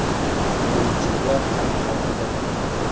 Qiyinchiliklar hali oldinda ekan.